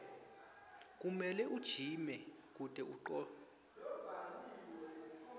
kumele ujime kute utocina